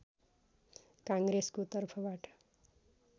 काङ्ग्रेसको तर्फबाट